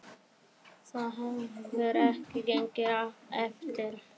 Það hefur ekki gengið eftir.